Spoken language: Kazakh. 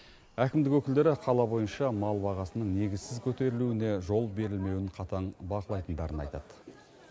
әкімдік өкілдері қала бойынша мал бағасының негізсіз көтерілуіне жол берілмеуін қатаң бақылайтындарын айтады